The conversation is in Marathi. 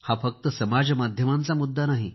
हा फक्त समाज माध्यमाचा मुद्दा नाही